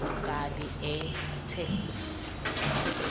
kabi itheksthi